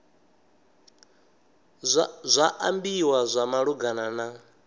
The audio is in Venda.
zwa ambiwa zwa malugana na